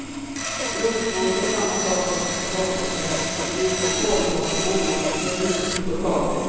Rotmos är samma sak som potatismos fast gjord på kålrot och morot förutom potatisen.